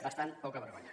bastant poca vergonya